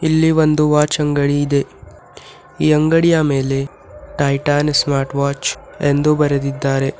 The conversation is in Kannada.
ಇಲ್ಲಿ ಒಂದು ವಾಚ್ ಅಂಗಡಿ ಇದೆ ಈ ಅಂಗಡಿಯ ಮೇಲೆ ಟೈಟಾನ್ ಸ್ಮಾರ್ಟ್ ವಾಚ್ ಎಂದು ಬರೆದಿದ್ದಾರೆ.